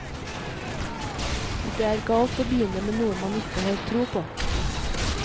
Det er galt å begynne med noe man ikke har tro på.